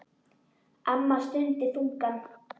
Amma stundi þungan.